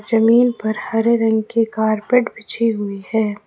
जमीन पर हरे रंग की कारपेट बिछी हुई है।